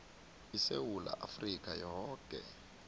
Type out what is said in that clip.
isewula afrika yoke